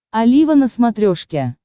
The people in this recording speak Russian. олива на смотрешке